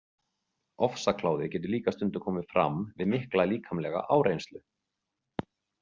Ofsakláði getur líka stundum komið fram við mikla líkamlega áreynslu.